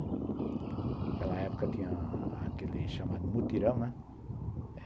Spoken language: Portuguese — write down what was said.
Naquela época tinha aquele chamado mutirão, né.